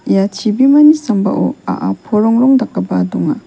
ia chibimani sambao a·a porongrong dakgipa donga.